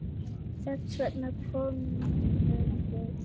Þess vegna komum við.